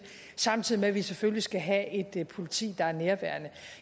samtidig med at vi selvfølgelig skal have et politi der er nærværende